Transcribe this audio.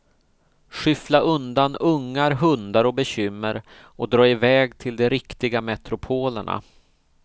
Skyffla undan ungar, hundar och bekymmer och dra i väg till de riktiga metropolerna.